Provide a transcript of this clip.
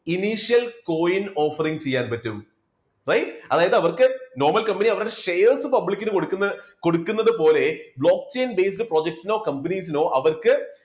coin offering ചെയ്യാൻ പറ്റും. അതായതു അവർക്ക് normal company അവരുടെ shares public ന് കൊടുക്കുന്ന കൊടുക്കുന്നത് പോലെ block chain based project നോ companies നോ അവർക്ക്